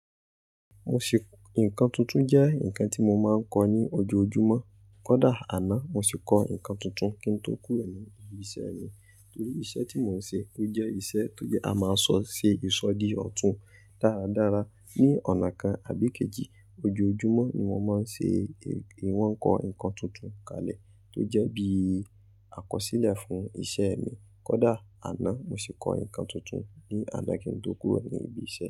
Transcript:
Mo ṣe, nǹkan tuntun jẹ́ nǹkan tí mo máa ń kọ ní ojoojúmọ́. Kódà àná mo sì kọ ǹkan tuntun kí n tó kúrò ní ibi iṣẹ́ mi. Torí iṣẹ́ tí mò ń ṣe o jẹ́ iṣẹ́ tó jẹ́ a máa sọ ṣe ìsọ̀dí ọ̀tún. Daradara ní ọ̀nà kan àbí kejì ojoojúmọ́ ni mo máa ń ṣe ìwọ̀n kọ ǹkan tuntun kalẹ̀ tó jẹ́ bí àkọsílẹ̀ fún iṣẹ́ mi. Kódà àná mo sì kọ ǹkan tuntun ní alẹ́ kí n tó kúrò ní ibi iṣẹ́